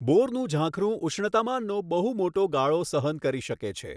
બોરનું ઝાંખરું ઉષ્ણતામાનનો બહુ મોટો ગાળો સહન કરી શકે છે.